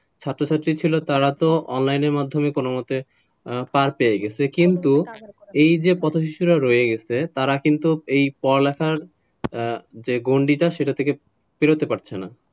ছাত্র-ছাত্রী ছিল তারা তো online র মাধ্যমে কোনোমতে পার করে গেছে কিন্তু এই যে পথশিশুরা রয়ে গেছে তারা কিন্তু এই পড়ালেখার গণ্ডিটা সেটা থেকে বেরোতে পারছে না,